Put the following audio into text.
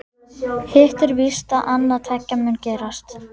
Hitt er víst að annað tveggja mun gerast.